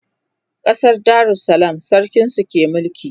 ƙasar darussalam sarkin su ke mulki